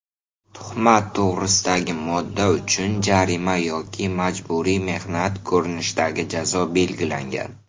Tuhmat to‘g‘risidagi modda uchun jarima yoki majburiy mehnat ko‘rinishadagi jazo belgilangan.